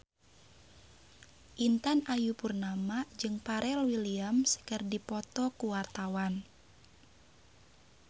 Intan Ayu Purnama jeung Pharrell Williams keur dipoto ku wartawan